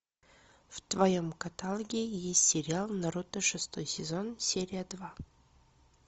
в твоем каталоге есть сериал наруто шестой сезон серия два